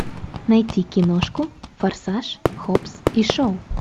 найти киношку форсаж хоббс и шоу